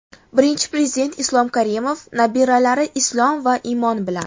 Birinchi Prezident Islom Karimov nabiralari Islom va Imon bilan.